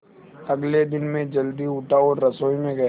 अगले दिन मैं जल्दी उठा और रसोई में गया